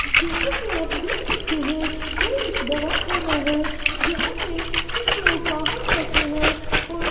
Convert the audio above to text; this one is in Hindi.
जैसे कि आप देख सकते है ये एक दवाखाना है जहां पर कुछ लोग बाहर बैठे हैं और--